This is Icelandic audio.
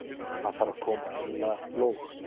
Hann þarf að koma því í lóg.